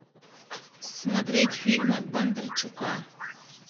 смотреть фильмы бондарчука